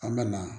An bɛ na